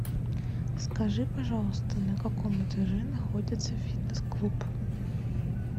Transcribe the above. скажи пожалуйста на каком этаже находится фитнес клуб